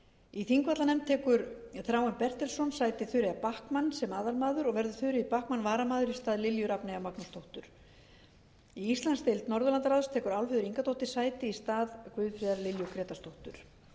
í þingvallanefnd tekur þráinn bertelsson sæti þuríður backman sem aðalmaður og verður þuríður backman varamaður í stað lilju rafneyjar magnúsdóttur í íslandsdeild norðurlandaráðs tekur álfheiður ingadóttir sæti í stað guðfríðar lilju grétarsdóttur